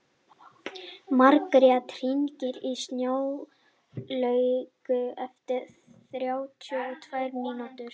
Margrjet, hringdu í Snjálaugu eftir þrjátíu og tvær mínútur.